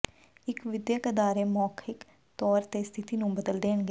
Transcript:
ਇਕ ਵਿਦਿਅਕ ਅਦਾਰੇ ਮੌਖਿਕ ਤੌਰ ਤੇ ਸਥਿਤੀ ਨੂੰ ਬਦਲ ਦੇਣਗੇ